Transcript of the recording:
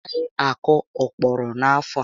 Ọ gaghị akọ ókpòrò n'afọ a